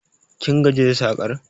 Kin gaji da sakar?